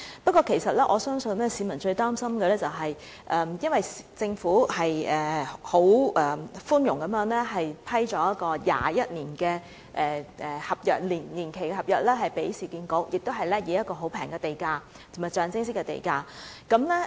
不過，我相信市民最擔心的是，政府寬容地向市建局批出21年年期的合約，以及以極低廉和象徵式的地價撥出這合約。